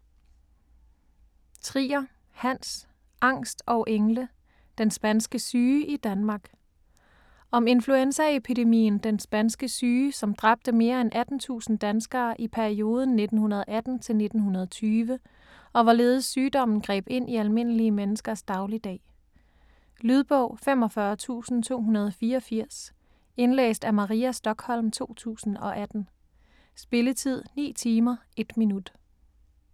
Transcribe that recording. Trier, Hans: Angst og engle: den spanske syge i Danmark Om influenzaepidemien den spanske syge som dræbte mere end 18.000 danskere i perioden 1918-1920, og hvorledes sygdommen greb ind i almindelige menneskers dagligdag. Lydbog 45284 Indlæst af Maria Stokholm, 2018. Spilletid: 9 timer, 1 minut.